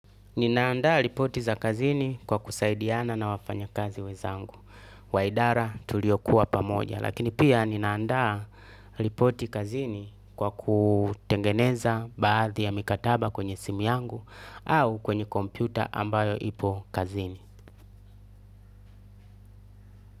Ninaandaa ripoti za kazini kwa kusaidiana na wafanyakazi wenza angu. Waidara tuliokuwa pamoja, lakini pia ninaandaa ripoti kazini kwa kutengeneza baadhi ya mikataba kwenye simu yangu au kwenye kompyuta ambayo ipo kazini.